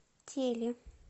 тели